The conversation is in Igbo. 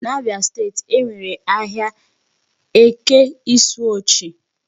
N'Abia state e nwere ahịa Eke Isuochi.